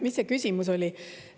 Mis see küsimus oli?